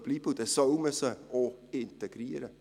Dann soll man diese auch integrieren.